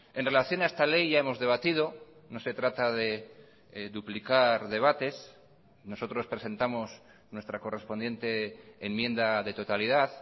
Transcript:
en relación a esta ley ya hemos debatido no se trata de duplicar debates nosotros presentamos nuestra correspondiente enmienda de totalidad